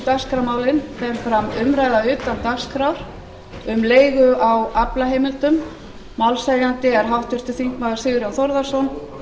dagskrármálin fer fram umræða utan dagskrár um leigu á aflaheimildum málshefjandi er háttvirtur þingmaður sigurjón þórðarson